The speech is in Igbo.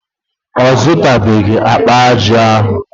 Ọ zụtabeghị akpa aja ahụ.